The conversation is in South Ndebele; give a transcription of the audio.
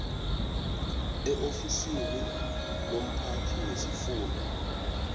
eofisini lomphathi wesifunda